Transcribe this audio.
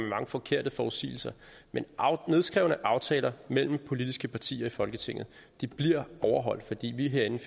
mange forkerte forudsigelser men nedskrevne aftaler mellem politiske partier i folketinget bliver overholdt fordi vi herinde